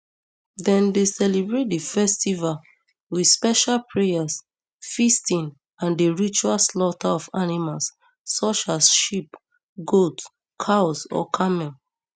dem dey celebrate di festival wit special prayers feasting and di ritual slaughter of animals such as sheep goats cows or camels